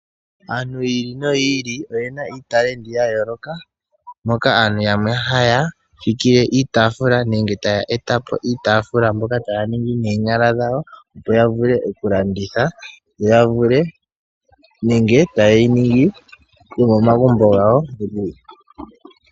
Aantu yiili noyiili oyena uunkulungu wa yooloka moka aantu yamwe haya fikile iitafuula nenge taya etapo iitafuula mbyoka taya ningi noonyala dhawo opo ya vule oku landitha yo ya vule nenge tayeyi ningi yomomagumbo gawo.